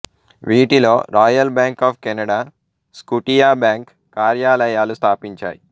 వీటిలో Royal Bank of Canada Scotiabank కార్యాలయాలు స్థాపించాయి